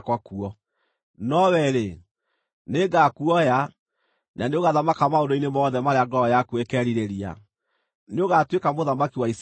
No wee-rĩ, nĩngakuoya, na nĩũgathamaka maũndũ-inĩ mothe marĩa ngoro yaku ĩkeerirĩria; nĩũgatuĩka mũthamaki wa Isiraeli.